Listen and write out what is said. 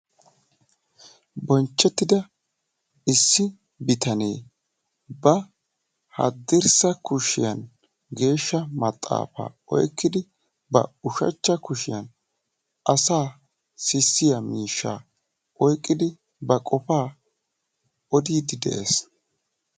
Bonchchetida issi bitanee ba hadirssa kushiyan geesha maxaafaa oyqidi ba ushachcha kushiyan asaa sissiyaa miishshaa oyqidi ba qofa odiidi de"es.